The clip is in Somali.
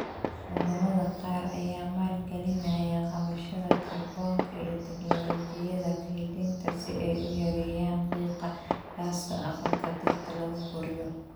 Wadamada qaar ayaa maalgalinaya qabashada kaarboonka iyo tignoolajiyada kaydinta si ay u yareeyaan qiiqa gaaska aqalka dhirta lagu koriyo.